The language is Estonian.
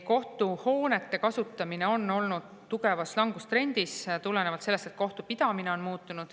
Kohtuhoonete kasutamine on olnud tugevas langustrendis tulenevalt sellest, et kohtupidamine on muutunud.